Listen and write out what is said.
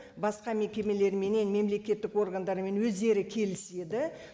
басқа мекемелеріменен мемлекеттік органдарымен өздері келіседі